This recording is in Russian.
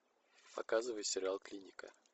показывай сериал клиника